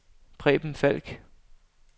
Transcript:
Preben Falk